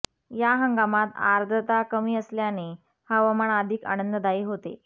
या हंगामात आर्द्रता कमी असल्याने हवामान अधिक आनंददायी होते